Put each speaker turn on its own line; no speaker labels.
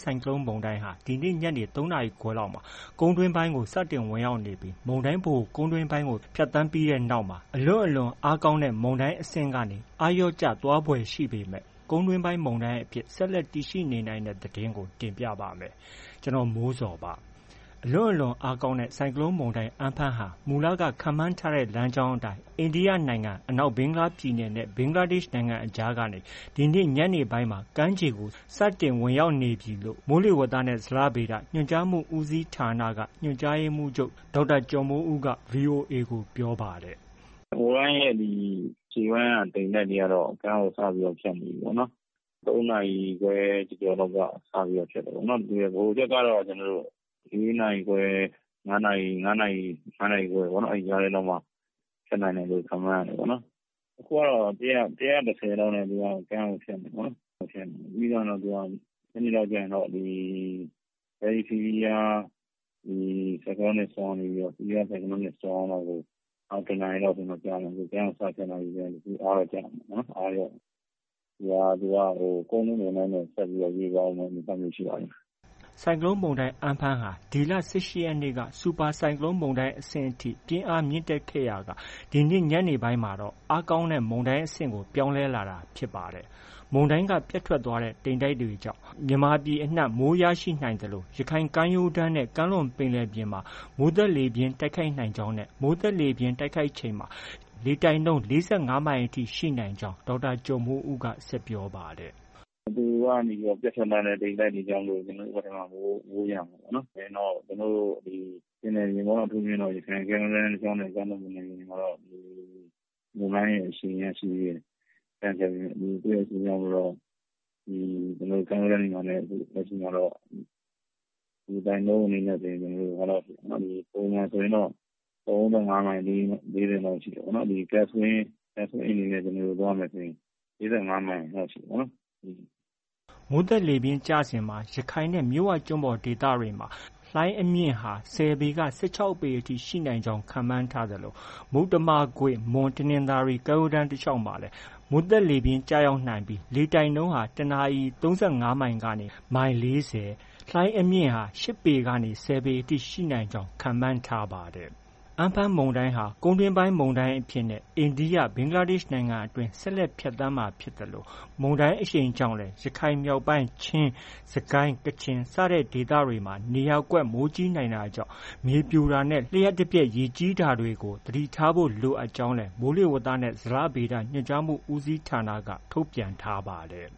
ဆိုင်ကလုန်းမုန်တိုင်းဟာ ဒီနေ့ ညနေ ၃ နာရီခွဲလာက်မှာ ကုန်းတွင်းပိုင်းကို စတင်ဝင်ရောက်နေပြီး မုန်တိုင်းဗဟိုကုန်းတွင်းပိုင်းကို ဖြတ်သန်းတဲ့ နောက်ပိုင်းမှာ အလွန့်အလွန်အားကောင်းတဲ့ မုန်တိုင်းကနေ အားလျော့ကျသွားဖွယ်ရှိပေမဲ့ ကုန်းတွင်းပိုင်း မုန်တိုင်းအဖြစ် ဆက်လက်တည်ရှိနေနိုင်တဲ့ သတင်းကို ဗွီအိုအေမြန်မာပိုင်းသတင်းထောက် ကိုမိုးဇော်က တင်ပြပေးပါမယ်။ အလွန့်အလွန်အားကောင်းတဲ့ ဆိုင်ကလုန်းမုန်တိုင်း Amphan ဟာ မူလ ခန့်မှန်းထားတဲ့ လမ်းကြောင်းအတိုင်း အိန္ဒိယနိုင်ငံ အနောက်ဘင်္ဂလားပြည်နယ်နဲ့ ဘင်္ဂလားဒေ့ရှ်နိုင်ငံအကြားကနေ ဒီနေ့ ညနေပိုင်းမှာ ကမ်းခြေကို စတင်ဝင်ရောက်နေပြီလို့ မိုးလေဝသနဲ့ ဇလဗေဒဌာန ညွှန်ကြားရေးမှုးချုပ် ဒေါက်တာကျော်မိုးဦးက ပြောပါတယ်
။ “မုန်တိုင်းရဲ့ ဒီ ရှေ့ပိုင်းတိမ်တိုက်တွေကတော့ ကမ်းကို စပြီးဖြတ်နေပြီပေါ့နော်။ ၃ နာရီခွဲကျော်ကျော်လောက်က စပြီးဖြတ်တယ်။ ဗဟိုချက်ကတော့ ၄ နာရီခွဲ၊ ၅ နာရီ၊ ၅ နာရီခွဲ လောက်မှာ အဲဒီ ကြားထဲမှာ ဖြတ်နိုင်တယ်လို့ ခန့်မှန်းရတယ်ပေါ့နော်။ အခုကတော့ ၁၁၀ လောက်နဲ့ ကမ်းကို ဖြတ်နေတယ်ပေါ့နော်။ ပြီးသွားရင်တော့ သူက ညနေလောက်ကျရင်တော့ Very Severe Cyclonic Storm ကနေပြီးတော့ Severe Cyclonic Storm လောက်ကို နောက် တစ်နာရီလောက်ဆိုရင်တော့ ကမ်းကိုဖြတ်နေပြီဆိုတော့ အားတော့ ကျလာမယ်။ အားတော့ လျော့နေပြီပေါ့။ သူက ကုန်းတွင်းမုန်တိုင်းအဖြစ် ဆက်ပြီးတော့ ရွှေ့သွားအုံးမယ့် အနေအထားမျိုးတော့ ရ
ှိပါတယ်။” ဆိုင်ကလုန်းမုန်တိုင်း Amphan ဟာ ဒီလ ၁၈ ရက်နေ့က စူပါဆိုင်ကလုန်းမုန်တိုင်း အဆင့်ထိ ပြင်းအားမြင့်တက်ခဲ့ရာက ဒီညနေမှာတော့ အားကောင်းတဲ့ မုန်တိုင်းအဖြစ်ကို ပြောင်းလဲလာတာဖြစ်ပါတယ်။ မုန်တိုင်းက ပြတ်ထွက်လာတဲ့ တိမ်တိုက်တွေကြောင့် ရခိုင်ကမ်းရိုးတမ်းနဲ့ ကမ်းလွန်ပင်လယ်ပြင်မှာ မိုးသက်လေပြင်းတိုက်ခိုက်နိုင်ကြောင်းနဲ့ မိုးသက်လေပြင်းတိုက်ချိန်မှာ ၄၅ မိုင်အထိ ရှိနိုင်ကြောင်း ဒေါက်တာ ကျော်မိုးဦးက ဆက်ပြောပါတယ်။
“သူကနေ ပြတ်ထွက်သွားတဲ့ တိမ်တိုက်တွေကြောင့် ကျနော်တို့ ဘက်ကထဲမှာ မိုးရမယ်။ နောက် ကျနော်တို့ ပင်လယ်ပြင်ပေါ့။ အထူးသဖြင့် ရခိုင်ကမ်းရိုးတန်းနဲ့ ကမ်းလွန်ပင်လယ်ပြင်မှာတော့ မုန်တိုင်းရဲ့ အရှိန်ရှိသေးတယ်။ မုန်တိုင်းရဲ့ အရှိန်ကြောင့် မို့တော့ ကမ်းရိုးတမ်းတွေမှာလည်း လေတိုက်နှုန်းက ပုံမှန်ဆိုရင်တော့ ၃၅ မိုင် ၄၀ လောက်ရှိတယ်။ ဒီ Gust Wind အနေနဲ့ သွားမယ်ဆိုရင် ၄၅ မိုင်လောက်ရှိတယ်ပေါ့နော်။”
မိုးသက်လေပြင်းကျစဉ်မှာ ရခိုင်နဲ့ မြစ်ဝကျွန်းပေါ်ဒေသမှာ မိုးသက်လေပြင်းကျစဉ် လှိုင်းအမြင့်ဟာ ၁၀ ပေက ၁၆ ပေအထိ ရှိနိုင်ကြောင်း ခန့်မှန်းထားသလို မုတ္တမကွေ့၊ မွန်၊ တနင်္သာရီကမ်းရိုးတန်း တလျှောက်မှာလည် မိုးသက်လေပြင်း ကျရောက်နိုင်ကြောင်း၊ မိုးသက်လေပြင်းကျစဉ် လေတိုက်နှုန်း တစ်နာရီ ၃၅ မိုင်ကနေ မိုင် ၄၀ လောက်ရှိနိုင်ပြီး လှိုင်းအမြင့် ၈ ပေကနေ ၁၀ ပေလောက် ရှိနိုင်ကြောင်း ခန့်မှန်းထားပါတယ်။ Amphan မုန်တိုင်းက ကုန်းတွင်းပိုင်းပိုင်းမုန်တိုင်းအဖြစ်နဲ့ အိန္ဒိယ၊ ဘင်္ဂလားဒေ့ရှ်နိုင်ငံအတွင်း ဆက်လက်ဖြတ်သန်းမှာ ဖြစ်သလို မုန်တိုင်းအရှိန်ကြောင့်လည်း ရခိုင်မြောက်ပိုင်း၊ ချင်း၊ စစ်ကိုင်း၊ ကချင် နေရာကွက်မိုးကြီးနိုင်တာကြောင့် မြေပြိုတာနဲ့ လျှပ်တပြက် ရေကြီးတာတွေကို သတိထားဖို့ လိုအပ်ကြောင်းလည်း မိုးလေဝသနဲ့ ဇလဗေဒ ညွှန်ကြားမှု ဦးစီးဌာနက ထုတ်ပြန်ထားပါတယ်